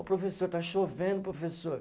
Ô professor está chovendo, professor.